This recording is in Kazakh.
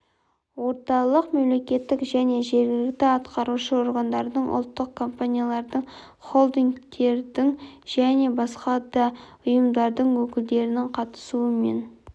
орталық мемлекеттік және жергілікті атқарушы органдардың ұлттық компаниялардың холдингтердің және басқа да ұйымдардың өкілдерінің қатысуымен